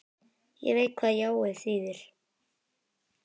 Ég veit hvað jáið þýðir.